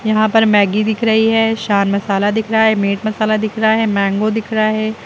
यहां पर मैगी दिख रही है शान दिख रहा है मीट मसाला दिख रहा है मैंगो दिख रहा है।